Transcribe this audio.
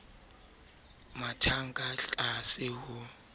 a mathang ka tlase ho